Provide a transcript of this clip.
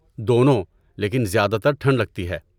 دونوں، لیکن زیادہ تر ٹھنڈ لگتی ہے۔